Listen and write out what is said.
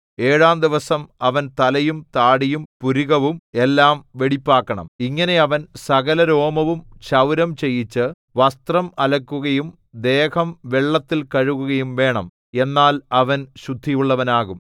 ഏഴാം ദിവസം അവൻ തലയും താടിയും പുരികവും എല്ലാം വെടിപ്പാക്കണം ഇങ്ങനെ അവൻ സകലരോമവും ക്ഷൗരം ചെയ്യിച്ച് വസ്ത്രം അലക്കുകയും ദേഹം വെള്ളത്തിൽ കഴുകുകയും വേണം എന്നാൽ അവൻ ശുദ്ധിയുള്ളവനാകും